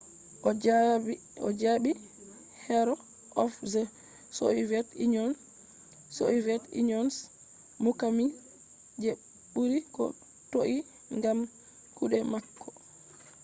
o jaɓi hero of the soviet union” soviet union’s muqami je ɓuri ko toi gam kuɗe mako